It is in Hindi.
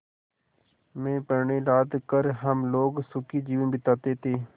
में पण्य लाद कर हम लोग सुखी जीवन बिताते थे